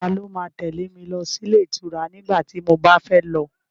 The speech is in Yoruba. Ta ló ma tẹ́lẹ̀ mi lọ sí ilé ìtura nígbà tí mo bá fẹ́ lọ?